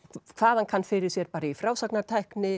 hvað hann kann fyrir sér í frásagnartækni